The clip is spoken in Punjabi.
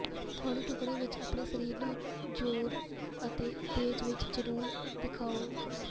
ਹੌਲੀ ਟੁਕੜੇ ਵਿਚ ਆਪਣੇ ਸਰੀਰ ਨੂੰ ਜ਼ੋਰ ਅਤੇ ਤੇਜ਼ ਵਿੱਚ ਜਨੂੰਨ ਦਿਖਾਉਣ